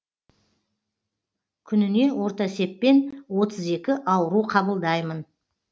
күніне орта есеппен отыз екі ауру қабылдаймын